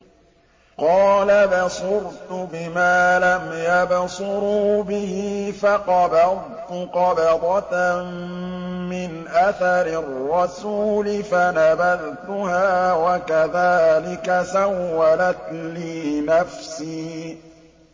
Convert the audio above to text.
قَالَ بَصُرْتُ بِمَا لَمْ يَبْصُرُوا بِهِ فَقَبَضْتُ قَبْضَةً مِّنْ أَثَرِ الرَّسُولِ فَنَبَذْتُهَا وَكَذَٰلِكَ سَوَّلَتْ لِي نَفْسِي